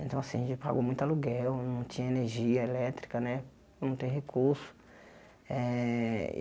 Então assim, a gente pagou muito aluguel, não tinha energia elétrica né, não tem recurso. Eh